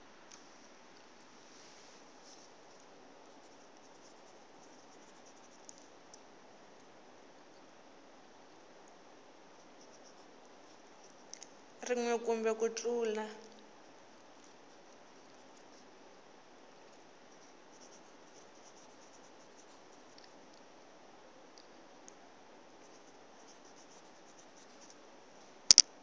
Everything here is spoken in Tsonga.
rin we kumbe ku tlula